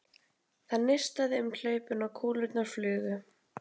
Það neistaði um hlaupin og kúlurnar flugu.